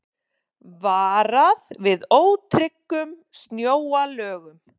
Varað við ótryggum snjóalögum